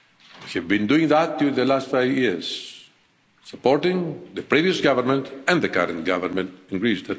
We have been doing that during the last five years supporting the previous government and the current government in Greece.